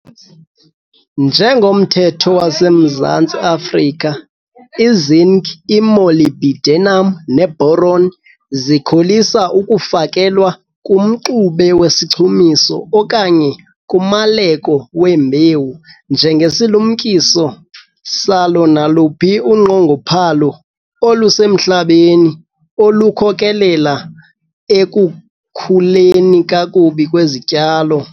Njengomthetho waseMzantsi Afrika, i-zinc, i-molybdenum ne-boron zikholisa ukufakelwa kumxube wesichumiso okanye kumaleko wembewu njengesilumkiso salo naluphi unqongophalo olusemhlabeni olukhokelela ekukhuleni kakubi kwezityalo.